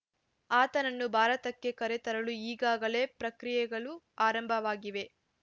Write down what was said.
ಆತನನ್ನು ಭಾರತಕ್ಕೆ ಕರೆತರಲು ಈಗಾಗಲೇ ಪ್ರಕ್ರಿಯೆಗಳು ಆರಂಭವಾಗಿವೆ